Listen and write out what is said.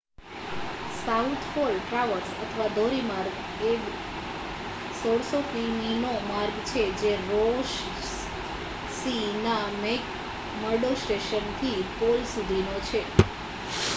south pole traverse અથવા ધોરી માર્ગ એ 1600 કિમીનો માર્ગ છે જે રૉસ સી ના મેક મર્ડો સ્ટેશન થી પોલ સુધીનો છે